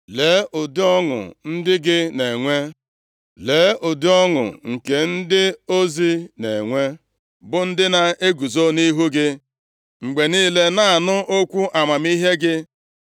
Lee, ụdị ọṅụ ndị gị na-enwe. Lee, ụdị ọṅụ nke ndị ozi na-enwe, bụ ndị na-eguzo nʼihu gị mgbe niile na-anụ okwu amamihe gị.